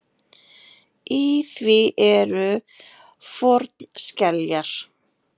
Í því eru fornskeljar.